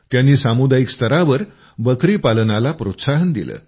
त्यांनी सामुदायिक स्तरावर बकरी पालनाला प्रोत्साहन दिलं